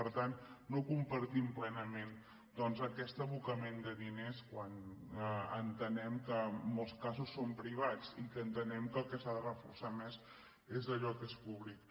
per tant no compartim plenament doncs aquest aboca·ment de diners quan entenem que en molts casos són privats i entenem que el que s’ha de reforçar més és allò que és públic